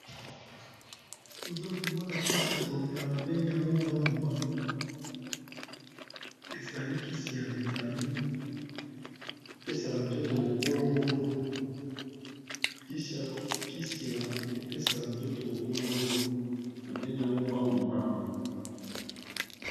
Toza komona kisi ya komela ba bengi yango mbangu mbangu, ezali kisi ya vitamine pesaka nzoto bo kolongono. Kisi ya epesaka nzoto bo kolongono, ba bengi yango mbangu mbangu.